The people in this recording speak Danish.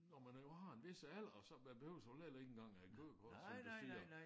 Når man nu har en hvis alder og så man behøver så heller ikke engang at have kørekort som du siger